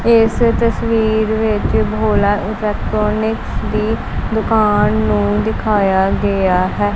ਇਸ ਤਸਵੀਰ ਵਿੱਚ ਭੋਲਾ ਇਲੈਕਟਰੋਨਿਕ ਦੀ ਦੁਕਾਨ ਨੂੰ ਦਿਖਾਇਆ ਗਿਆ ਹੈ।